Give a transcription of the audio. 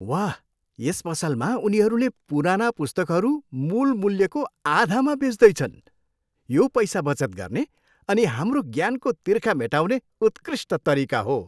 वाह! यस पसलमा उनीहरूले पुराना पुस्तकहरू मूल मूल्यको आधामा बेच्दैछन्। यो पैसा बचत गर्ने अनि हाम्रो ज्ञानको तिर्खा मेटाउने उत्कृष्ट तरिका हो।